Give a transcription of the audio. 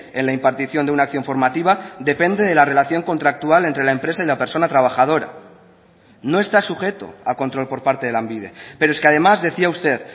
en la impartición de una acción formativa depende de la relación contractual entre la empresa y la persona trabajadora no está sujeto a control por parte de lanbide pero es que además decía usted